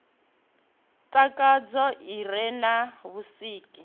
takadzaho i re na vhusiki